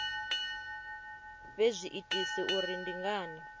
fhe zwiitisi uri ndi ngani